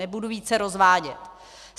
Nebudu více rozvádět.